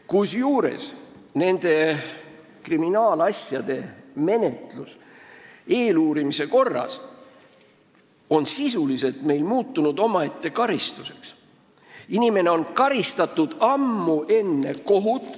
–, kusjuures nende kriminaalasjade menetlus eeluurimise korras on meil sisuliselt omaette karistuseks muutunud.